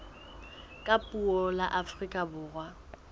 ka puo la afrika borwa